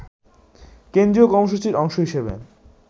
কেন্দ্রীয় কর্মসূচির অংশ হিসেবে